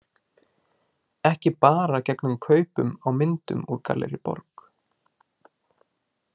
Ekki bara gegn kaupum á myndum úr Gallerí Borg.